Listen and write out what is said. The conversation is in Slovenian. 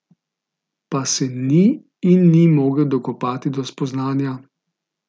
Pa se ni in ni mogel dokopati do spoznanja.